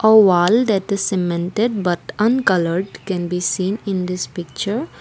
a wall that is cemented but uncolored can be seen in this picture.